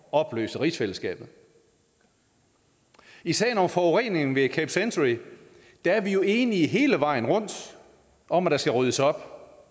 opløse rigsfællesskabet i sagen om forureningen ved camp century er vi jo enige hele vejen rundt om at der skal ryddes op